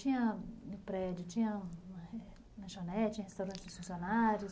Tinha um prédio, tinha um lanchonete, tinha um restaurante dos funcionários?